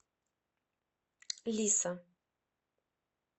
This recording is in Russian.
лиса